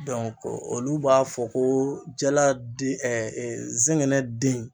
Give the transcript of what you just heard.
olu b'a fɔ ko jala di zɛngɛnɛ den